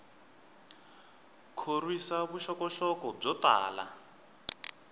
khorwisa vuxokoxoko byo tala